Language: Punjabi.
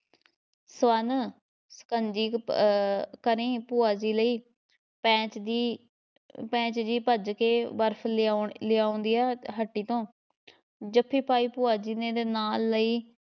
ਸਵਰਨ ਸ਼ਕੰਜੀ ਅਹ ਕਰੀਂ ਭੂਆ ਜੀ ਲਈ, ਪੈਂਚ ਜੀ ਪੈਂਚ ਜੀ ਭੱਜ ਕੇ ਬਰਫ ਲਿਆਉਣ ਲਿਆਉਂਦਿਆਂ ਹੱਟੀ ਤੋਂ ਜੱਫੀ ਪਾਈ ਭੂਆ ਜੀ ਮੇਰੇ ਨਾਲ਼ ਲਈ